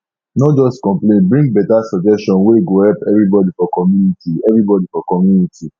no just complain bring better suggestion wey go help everybody for community everybody for community